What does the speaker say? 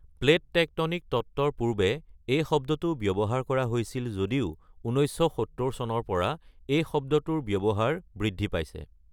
Plate tectonic তত্ত্বৰ পূৰ্বে এই শব্দটো ব্যৱহাৰ কৰা হৈছিল যদিও ১৯৭০ চনৰ পৰা এই শব্দটোৰ ব্যৱহাৰ বৃদ্ধি পাইছে।